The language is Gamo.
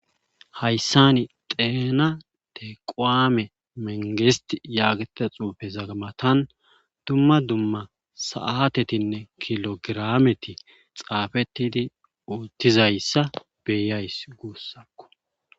hayssani xeena tequme mengest yaagta xuufe zagamatan dumma dumma saatetinne kilogirameti xaafetidi uuttizayssa beyays guussakko